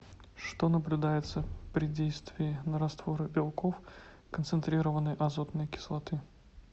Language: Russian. что наблюдается при действии на растворы белков концентрированной азотной кислоты